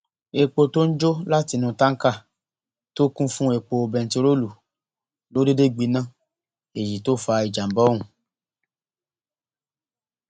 èpò tó ń jó látinú táǹkà tó kún fún epo bẹntiróòlù ló déédé gbiná èyí tó fa ìjàmbá ọhún